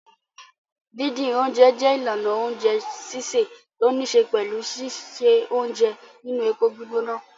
Dídín oúnjẹ jẹ́ ìlànà oúnjẹ sísè tó níṣe pẹ̀lú síse oúnjẹ nínú epo gbígbóná.